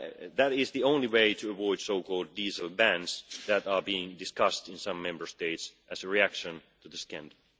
That is the only way to avoid so called diesel bans that are being discussed in some Member States as a reaction to the scandal.